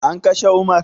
An kashe umar?